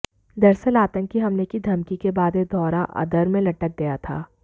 दरअसल आतंकी हमले की धमकी के बाद यह दौरा अधर मेंलटक गया था